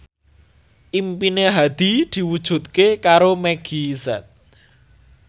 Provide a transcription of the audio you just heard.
impine Hadi diwujudke karo Meggie Z